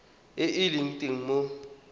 e e leng teng mo